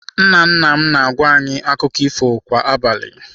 Nna nna m na-agwa anyị akụkọ ifo kwa abalị.